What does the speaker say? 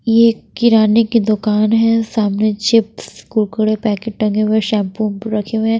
ये किराने की दुकान है सामने चिप्स कुरकुरे पैकेट टंगे हुए है शैम्पु वैम्पु रखे हुए हैं।